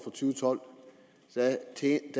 med